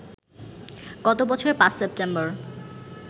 গত বছরের ৫ সেপ্টেম্বর